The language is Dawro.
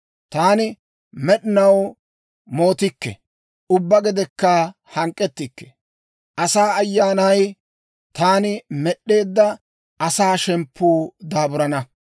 Taani med'inaw mootikke; ubbaa gedekka hank'k'ettikke. Asaa ayyaanay, taani med'd'eedda asaa shemppuu daaburana.